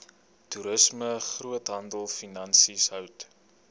toerisme groothandelfinansies hout